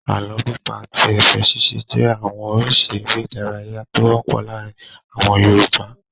Àlọ́ pípa àti ẹ̀fẹ̀ ṣíṣe jẹ́ àwọn oríṣi eré-idárayá tó wọ́pọ̀ láàárin àwọn Yorùbá.